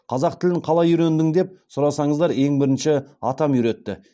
қазақ тілін қалай үйрендің деп сұрасаңыздар ең бірінші атам үйретті